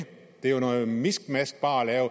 det er jo noget miskmask bare at